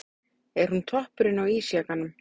Er hún toppurinn á ísjakanum?